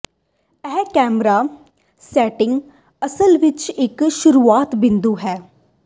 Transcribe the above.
ਇਹ camera settings ਅਸਲ ਵਿੱਚ ਇੱਕ ਸ਼ੁਰੂਆਤੀ ਬਿੰਦੂ ਹੈ